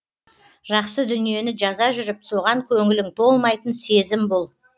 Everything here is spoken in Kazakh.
жақсы дүниені жаза жүріп соған көңілің толмайтын сезім бұл